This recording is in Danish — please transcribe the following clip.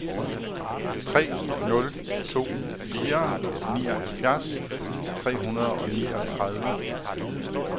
tre nul to fire nioghalvfjerds tre hundrede og niogtredive